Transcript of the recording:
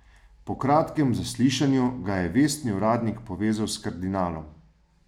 Po kratkem zaslišanju ga je vestni uradnik povezal s kardinalom.